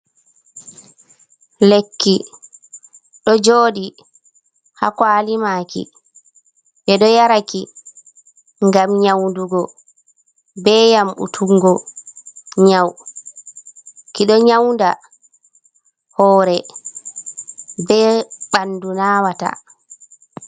Lekki do jodi hakwalimaki, be do yaraki gam nyaudugo, be yambutuggo nyau, kido nyauda hore be bandu nawata.